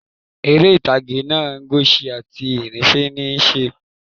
Eré ìtàgé náá "Enoch" ti ìhìnrere níí se